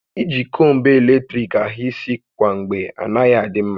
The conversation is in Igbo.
I ji kombu eletrik ahà isi kwa mgbe anaghị adị mma